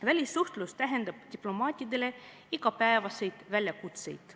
Välissuhtlus tähendab diplomaatidele igapäevaseid väljakutseid.